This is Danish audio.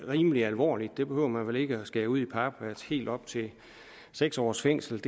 rimelig alvorligt det behøver man vel ikke skære ud i pap helt op til seks års fængsel